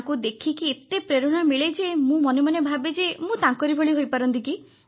ତାଙ୍କୁ ଦେଖିକି ଏତେ ପ୍ରେରଣା ମିଳେ ଯେ ମୁଁ ମନେ ମନେ ଭାବେ ଯେ ମୁଁ ତାଙ୍କରି ଭଳି ହୋଇପାରନ୍ତି କି